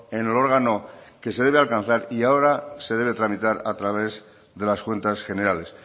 en el órgano que se debe alcanzar y ahora se debe tramitar a través de las cuentas generales